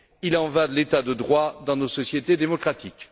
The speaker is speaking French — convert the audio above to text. Il en va de l'État de droit dans nos sociétés démocratiques.